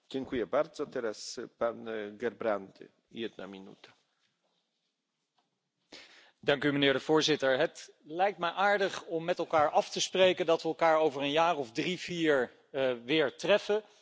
Voorzitter, het lijkt me aardig om met elkaar af te spreken dat we elkaar over een jaar of drie vier weer treffen en dat we lachend terugkijken op het achterhoedegevecht dat wij in deze dagen hebben gevoerd.